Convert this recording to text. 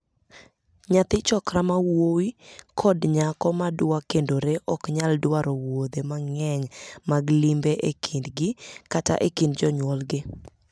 Nyathi 'chokra' ma wuowi kod nyako ma dwa kendore ok nyal dwaro wuodhe mang'eny mag limbe e kindgi kata e kind jonyuolgi.